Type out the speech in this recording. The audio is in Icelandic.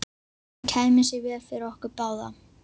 Það kæmi sér vel fyrir okkur báða.